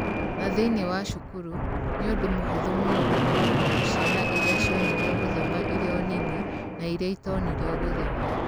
Na thĩinĩ wa cukuru, nĩ ũndũ mũhũthũ mũno gũkũũrana ciana iria cionirio gũthoma irĩ o nini, na iria itonirio gũthoma.